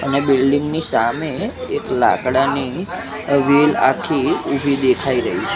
અને બિલ્ડીંગ ની સામે એક લાકડાની વ્હીલ આખી ઉભી દેખાય રહી છે.